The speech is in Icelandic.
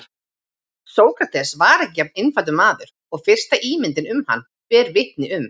Sókrates var ekki jafn einfaldur maður og fyrsta ímyndin um hann ber vitni um.